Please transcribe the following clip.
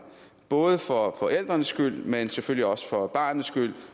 både for forældrenes skyld men selvfølgelig også for barnets skyld